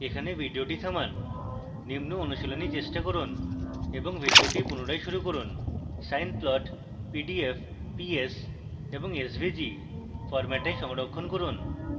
এখানে video থামান নিম্ন অনুশীলনী চেষ্টা করুন এবং video পুনরায় শুরু করুন